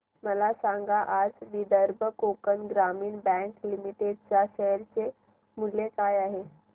मला सांगा आज विदर्भ कोकण ग्रामीण बँक लिमिटेड च्या शेअर चे मूल्य काय आहे